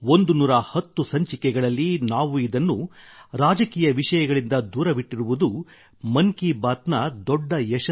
110 ಸಂಚಿಕೆಗಳಲ್ಲಿ ನಾವು ಇದನ್ನು ಸರ್ಕಾರದ ನೆರಳಿನಿಂದ ದೂರವಿಟ್ಟಿರುವುದು ಮನ್ ಕಿ ಬಾತ್ನ ದೊಡ್ಡ ಯಶಸ್ಸಾಗಿದೆ